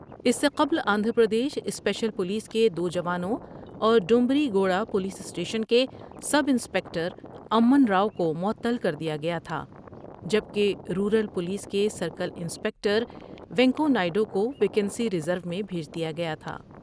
اس سے قبل Andhra Pradesh special police کے دو جوانوں اور ڈومبری گوڑہ پولیس اسٹیشن کے سب انسپکٹر امن راؤ کومعطل کر دیا گیا تھا جب کہ رورل پولیس کے سرکل انسپکٹر و نیکونائیڈ وکو ویکسی ریز رو میں بھیج دیا گیا تھا ۔